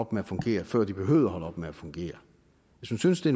op med at fungere før de behøvede at holde op med at fungere hvis man synes det